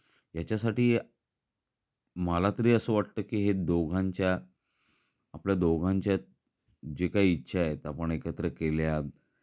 याचा साठी, मला तरी असं वाटतं की दोघांच्या आपल्या दोघांच्या जे काही इच्छा आहेत आपण एकत्र केल्या.